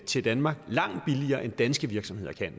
til danmark langt billigere end danske virksomheder kan